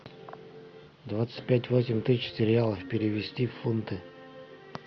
двадцать пять восемь тысяч реалов перевести в фунты